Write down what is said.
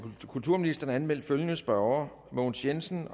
kulturministeren er anmeldt følgende spørgere mogens jensen